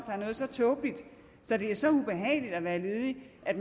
er så tåbeligt at det er så ubehageligt at være ledig at